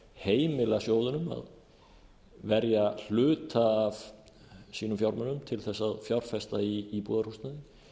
heimila sjóðunum að verja hluta af sínum fjármunum til að fjárfesta í íbúðarhúsnæði